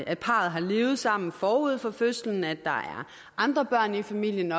at parret har levet sammen forud for fødslen at der er andre børn i familien